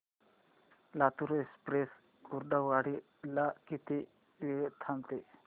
Latur express Kurduwadi ला किती वेळ थांबते